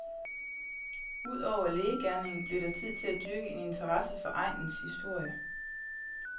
Ud over lægegerningen blev der tid til at dyrke en interesse for egnens historie.